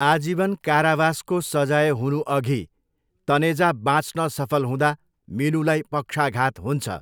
आजीवन कारावासको सजाय हुनुअघि तनेजा बाँच्न सफल हुँदा मिनूलाई पक्षाघात हुन्छ।